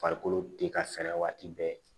Farikolo te ka fɛrɛ waati bɛɛ